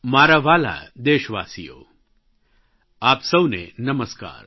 મારા વ્હાલા દેશવાસીઓ આપ સૌને નમસ્કાર